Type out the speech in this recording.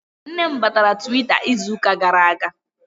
Nne m batara Twitter izuka gara aga